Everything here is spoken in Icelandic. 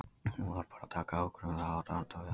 Þú þarft bara að taka ákvörðun um það og standa við hana.